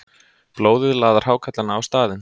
Blóðið laðar hákarlana á staðinn.